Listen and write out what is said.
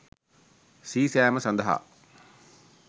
සී සෑම සඳහා